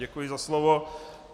Děkuji za slovo.